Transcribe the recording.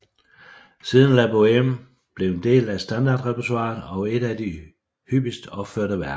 Siden er La Bohème blevet en del af standardrepertoiret og et af de hyppigst opførte værker